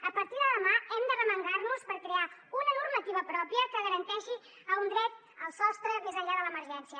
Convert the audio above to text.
a partir de demà hem d’arremangar nos per crear una normativa pròpia que garanteixi el dret al sostre més enllà de l’emergència